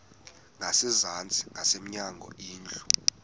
ngasezantsi ngasemnyango indlu